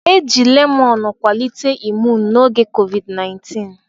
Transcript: Eji lemọn kwalite imuun n'oge COVID-19.